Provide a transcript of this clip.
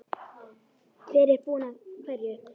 Hver er búinn að hverju?